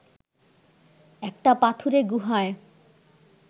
একটা পাথুরে গুহায়